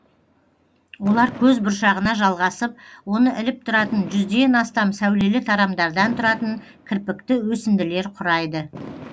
олар көз бұршағына жалғасып оны іліп тұратын жүзден астам сәулелі тарамдардан тұратын кірпікті өсінділер құрайды